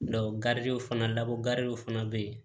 fana labɔ gariw fana bɛ yen